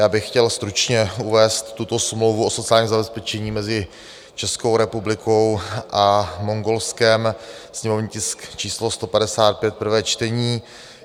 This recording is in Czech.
Já bych chtěl stručně uvést tuto smlouvu o sociálním zabezpečení mezi Českou republikou a Mongolskem, sněmovní tisk číslo 155, prvé čtení.